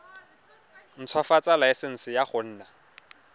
ntshwafatsa laesense ya go nna